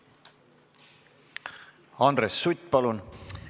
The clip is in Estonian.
Andres Sutt, palun!